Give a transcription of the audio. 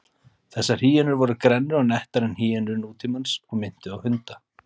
Þessar hýenur voru grennri og nettari en hýenur nútímans og minntu á hunda.